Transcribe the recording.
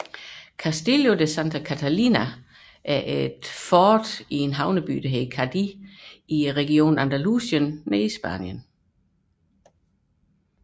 Castillo de Santa Catalina er et fort i havnebyen Cadiz i regionen Andalusien i Spanien